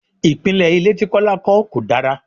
Ìpìnlè ilé tí Kọ́lá kọ́ kò dára.